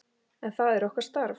En það er okkar starf.